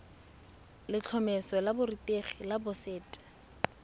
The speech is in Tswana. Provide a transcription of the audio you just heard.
letlhomeso la borutegi la boset